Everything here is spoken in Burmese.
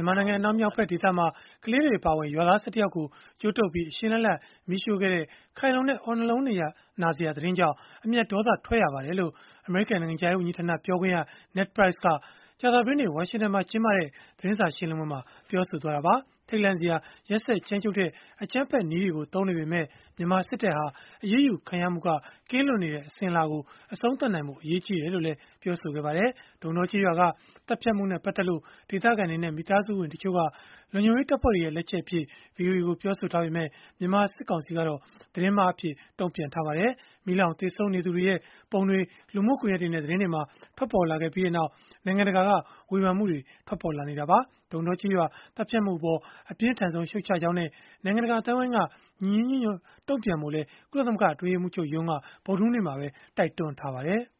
န်မာနိုင်ငံ အနောက်မြောက်ဖက်ဒေသမှာ ကလေးတွေ အပါအဝင် ရွာသား ၁၁ ယောက်ကို ကြိုးတုပ်ပြီး အရှင်လတ်လတ် မီးရှို့ခဲ့တဲ့၊ ခိုင်လုံတဲ့ အော့နှလုံးနာစရာ သတင်းကြောင့် အမျက်ဒေါသ ထွက်ရပါတယ်။” လို့ အမေရိကန် နိုင်ငံခြားရေး ဝန်ကြီးဌာန ပြောခွင့်ရ Ned Price က ကြာသပတေးနေ့ ဝါရှင်တန်မှာ ကျင်းပတဲ့ သတင်းစာ ရှင်းလင်းပွဲမှာ ပြောဆိုလိုက်တာပါ။ ထိတ်လန့်စရာ ရက်စက်ကြမ်းကြုတ်တဲ့ အကြမ်းဖက်နည်းတွေကို သုံးနေပေမဲ့ မြန်မာစစ်တပ်ဟာ အရေးယူခံရမှုက ကင်းလွတ်နေတဲ့ အစဉ်အလာကို အဆုံးသတ်ဖို့ အရေးကြီးတယ်လို့လည်း ပြောပါတယ်။ ဒုံးတောကျေးရွာက သတ်ဖြတ်မှုနဲ့ ပတ်သက်လို့ ဒေသခံတွေနဲ့ မိသားစုဝင်တချို့က လုံခြုံရေးတပ်ဖွဲ့တွေရဲ့ လက်ချက်အဖြစ် ဗွီအိုအေကို ပြောဆိုထားပေမဲ့ မြန်မာစစ်ကောင်စီကတော့ သတင်းမှားအဖြစ်နဲ့ တုံ့ပြန်ထားပါတယ်။ မီးလောင်သေဆုံးနေသူတွေရဲ့ ပုံတွေ လူမှုကွန်ရက်တွေနဲ့ သတင်းတွေမှာ ထွက်ပေါ်လာခဲ့ပြီးနောက် နိုင်ငံတကာက ဝေဖန်မှုတွေ ထွက်ပေါ်လာနေတာပါ။ ဒုံးတောကျေးရွာ သတ်ဖြတ်မှုအပေါ် အပြင်းထန်ဆုံး ရှုတ်ချကြောင်းနဲ့ နိုင်ငံတကာ အသိုင်းအဝန်းက ညီညီညွတ်ညွတ် တုံ့ပြန်ကြဖို့လည်း ကုလသမဂ္ဂ အတွင်းရေးမှူးချုပ်ရုံးက ဗုဒ္ဓဟူးနေ့မှာ တိုက်တွန်းခဲ့ပါတယ်။